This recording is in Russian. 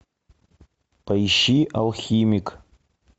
поищи алхимик